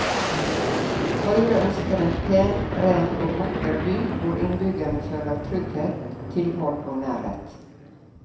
Høyre ønsker en pen, ren og vakker by hvor innbyggerne føler trygghet, tilhold og nærhet.